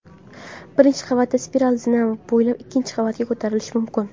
Birinchi qavatdan spiral zina bo‘ylab ikkinchi qavatga ko‘tarilish mumkin.